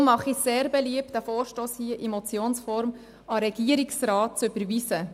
Deshalb mache ich sehr beliebt, diesen Vorstoss hier in Motionsform an den Regierungsrat zu überweisen.